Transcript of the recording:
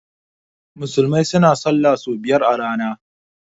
musulmai suna sallah sau biyar a rana